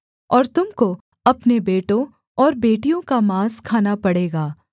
और तुम को अपने बेटों और बेटियों का माँस खाना पड़ेगा